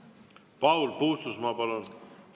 Paul Puustusmaa, palun!